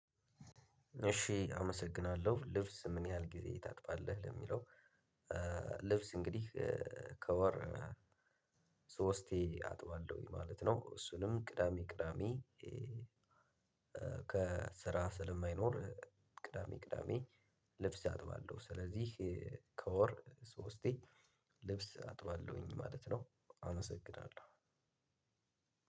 እሺ አመሰግናለሁ። ልብስ ምን ያህል ጊዜ ታጥባለህ ለሚለው ልብስ እንግዲህ ከወር ሶስቴ አጥባለሁኝ ማለት ነው እሱንም ቅዳሜ ቅዳሜ ከስራ ስለማይኖር ቅዳሜ ቅዳሜ ልብስ አጥባለሁ። ስለዚህ ከወር ሶስቴ ልብስ አጥባለሁኝ ማለት ነው አመሰግናለሁ።